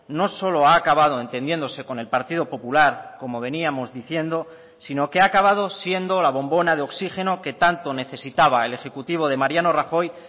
no solo ha acabado entendiéndose con el partido popular como veníamos diciendo sino que ha acabado siendo la bombona de oxígeno que tanto necesitaba el ejecutivo de mariano rajoy